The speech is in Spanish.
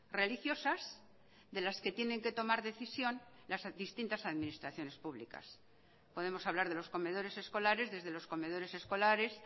religiosas de las que tienen que tomar decisión las distintas administraciones públicas podemos hablar de los comedores escolares desde los comedores escolares